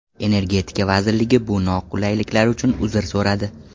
Energetika vazirligi bu noqulayliklar uchun uzr so‘radi.